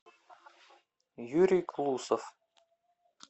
юрий клусов